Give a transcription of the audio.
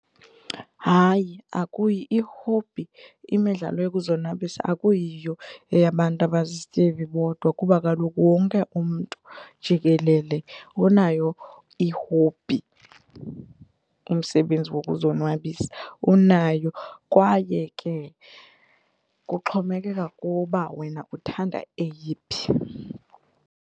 Hayi i-hobby imidlalo yokuzonwabisa akuyiyo eyabantu abazizityebi bodwa kuba kaloku wonke umntu jikelele unayo i-hobby umsebenzi wokuzonwabisa unayo kwaye ke kuxhomekeka kuwe uba wena uthanda eyiphi.